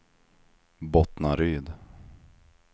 Bottnaryd